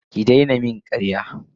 Ki daina min karya.